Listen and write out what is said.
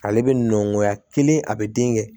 Ale bɛ nɔngɔnya kelen a bɛ den kɛ